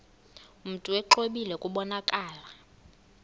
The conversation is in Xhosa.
mntu exwebile kubonakala